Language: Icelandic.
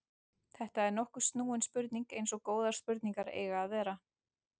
Þetta er nokkuð snúin spurning eins og góðar spurningar eiga að vera.